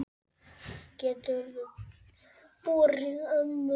Geturðu borið ömmu út fyrir?